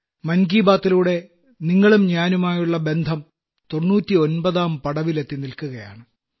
മൻ കി ബാത്തിലൂടെ നിങ്ങളും ഞാനുമായുള്ള ബന്ധം 99ാം പടവിലെത്തിനില്ക്കുകയാണ്